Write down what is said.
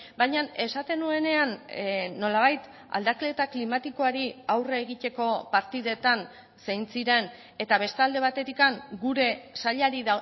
baina esaten nuenean nolabait aldaketa klimatikoari aurre egiteko partidetan zein ziren eta beste alde batetik gure sailari